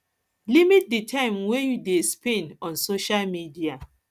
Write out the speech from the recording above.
limit di time wey you you dey spend on social media